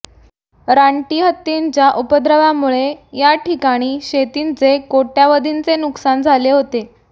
रानटी हत्तींच्या उपद्रव्यामुळे या ठिकाणी शेतींचे कोट्यवधींचे नुकसान झाले होते